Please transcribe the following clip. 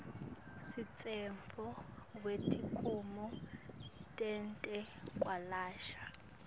semtsetfo wetikimu tetekwelashwa